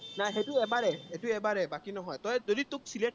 নাই সেইটো এবাৰেই সেইটো এবাৰেই, বাকী নহয়। তই যদি তোক select